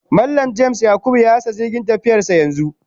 Mallam (James/Yakubu) ya rasa jirgin tafiyarsa yanzu